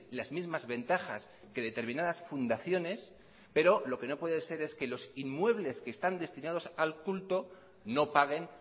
las mismas ventajas que determinadas fundaciones pero lo que no puede ser es que los inmuebles que están destinados al culto no paguen